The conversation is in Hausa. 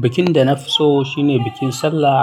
Bikin da na fi so shine bikin sallah,